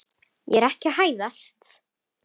Ég er ekki að hæðast.